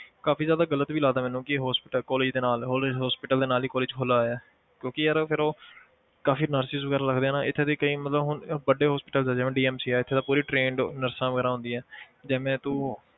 ਕਾਫ਼ੀ ਜ਼ਿਆਦਾ ਗ਼ਲਤ ਵੀ ਲੱਗਦਾ ਮੈਨੂੰ ਕਿ hospital college ਦੇ ਨਾਲ college hospital ਦੇ ਨਾਲ ਹੀ college ਖੋਲਿਆ ਹੋਇਆ ਹੈ ਕਿਉਂਕਿ ਯਾਰ ਫਿਰ ਉਹ ਕਾਫ਼ੀ nurses ਵਗ਼ੈਰਾ ਲੱਗਦੇ ਆ ਨਾ ਇੱਥੇ ਦੇ ਕਈ ਮਤਲਬ ਹੁਣ ਵੱਡੇ hospitals ਆ ਜਿਵੇਂ DMC ਹੈ ਇੱਥੇ ਤਾਂ ਪੂਰੀ trained nurses ਵਗ਼ੈਰਾ ਹੁੰਦੀਆਂ ਜਿਵੇਂ ਤੂੰ